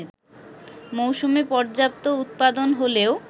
মৌসুমে পর্যাপ্ত উৎপাদন হলেও